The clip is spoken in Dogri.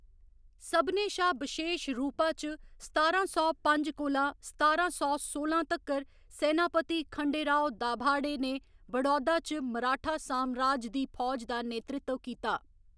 सभनें शा बशेश रूपा च, सतारां सौ पंज कोला सतारां सौ सोलां तक्कर, सैनापती खंडेराव दाभाडे ने बड़ौदा च मराठा सामराज दी फौज दा नेतृत्व कीता।